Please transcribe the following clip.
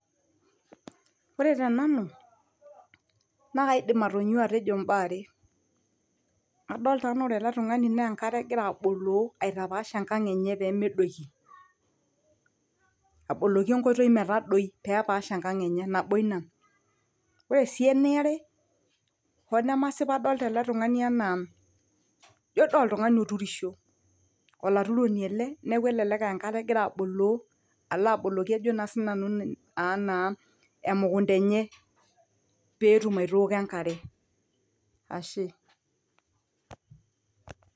ore te nanu naa kaidim atonyua atejo imbaa are adolta anaa ore ele tung'ani naa enkare egira aboloo aitapash enkang enye pemedoiki aboloki enkoitoi metadoi pepaash enkang enye nabo ina ore sii eniare hoo nemasip adolta ele tung'ani enaa jio dii oltung'ani oturisho olaturoni ele neeku elelek e enkare egira aboloo alo aboloki ajo naa sinanu anaa emukunta enye peetum aitooko enkare ashe.